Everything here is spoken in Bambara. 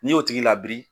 N'i y'o tigi labiri